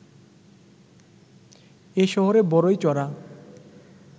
এ শহরে বড়ই চড়া